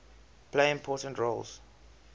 play important roles